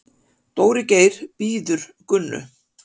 Dóri Geir bíður Gunnu.